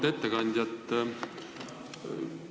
Auväärt ettekandja!